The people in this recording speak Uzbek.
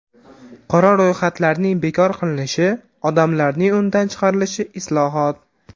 Qora ro‘yxatlarning bekor qilinishi, odamlarning undan chiqarilishi islohot.